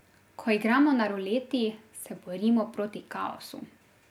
Ko igramo na ruleti, se borimo proti kaosu.